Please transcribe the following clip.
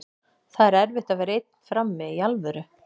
Það er erfitt að vera einn frammi, í alvöru.